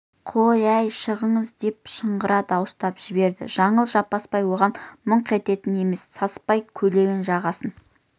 қой әй шығыңыз деп шыңғыра дауыстап жіберді жаңыл жаппасбай оған мыңқ ететін емес саспай көйлегінің жағасын